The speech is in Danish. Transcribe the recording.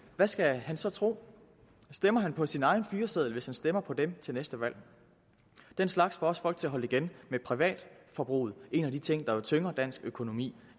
hvad skal han så tro stemmer han på sin egen fyreseddel hvis han stemmer på dem til næste valg den slags får også folk til at holde igen med privatforbruget hvilket en af de ting der jo tynger dansk økonomi